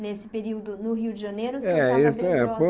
Nesse período no Rio de Janeiro, É esse é o senhor estava bem próximo.